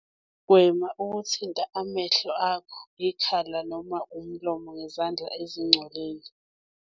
.gwema ukuthinta amehlo akho, ikhala noma umlomo ngezandla ezingcolile.